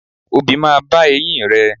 Obì máa bá eyín rẹ.